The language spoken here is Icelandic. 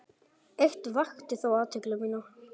Eitt vakti þó athygli mína.